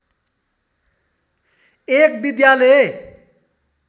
एक विद्यालय